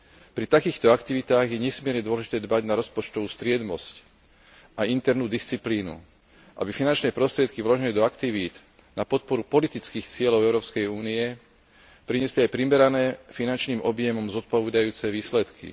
Pri takýchto aktivitách je nesmierne dôležité dbať na rozpočtovú striedmosť a internú disciplínu, aby finančné prostriedky vložené do aktivít na podporu politických cieľov Európskej únie priniesli aj primerané, finančným objemom zodpovedajúce výsledky.